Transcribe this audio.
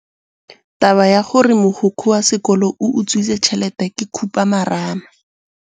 Taba ya gore mogokgo wa sekolo o utswitse tšhelete ke khupamarama.